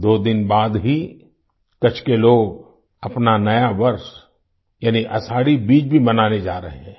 दो दिन बाद ही कच्छ के लोग अपना नया वर्ष यानि आषाढ़ी बीज भी मनाने जा रहे हैं